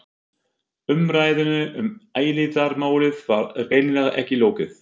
Umræðunni um eilífðarmálið var greinilega ekki lokið.